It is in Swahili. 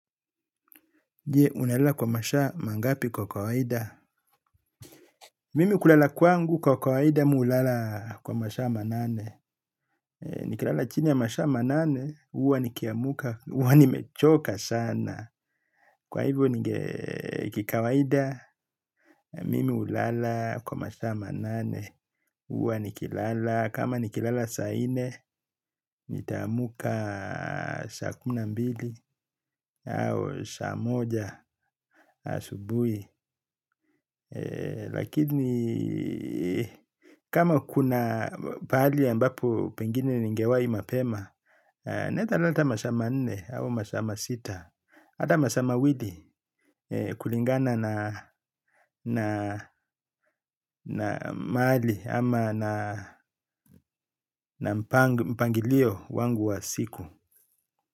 Je, unelala kwa mashaa, mangapi kwa kawaida? Mimi kulala kwangu kwa kawaida mi hulala kwa masaa manane. Nikilala chini ya masaa manane, huwa nikiamuka, huwa nimechoka sana. Kwa hivyo ninge kikawaida, mimi hulala kwa masaa manane. Huwa nikilala, kama nikilala sa nne, nitaamka saa kumi na mbili au saa moja asubuhi. Lakini kama kuna pali ambapo pengine ningewai mapema naezalala masaa manne au masaa masita. Hata masaa mawili kulingana na mahali ama na mpangilio wangu wa siku.